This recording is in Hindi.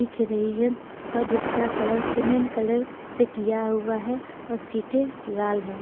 दिख रही है और जिसका कलर सीमेंट कलर से किया हुआ है और सीटें लाल हैं।